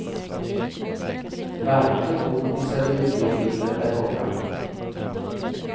Varken godis eller videofilmer är borta.